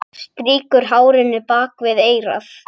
Strýkur hárinu bak við eyrað.